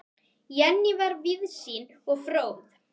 Jenný var víðsýn og fróð.